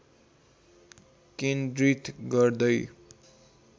केन्द्रित गर्दै